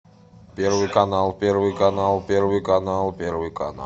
первый канал первый канал первый канал первый канал